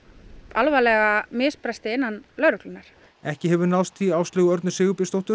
alvarlega misbresti innan lögreglunnar ekki hefur náðst í Áslaugu Örnu Sigurbjörnsdóttur